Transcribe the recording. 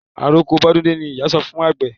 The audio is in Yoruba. Àroko bọ́dún dé ni ìyá sọ fún àgbẹ̀.